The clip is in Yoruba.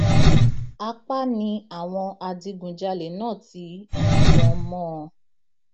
apá ni àwọn adigunjalè náà ti yìnbọn mọ ọn